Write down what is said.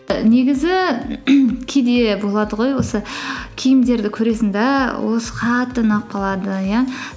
і негізі кейде болады ғой осы киімдерді көресің де осы қатты ұнап қалады иә